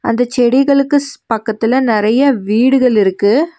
அந்த செடிகளுக்கு ஸ் பக்கத்துல நெறைய வீடுகள் இருக்கு.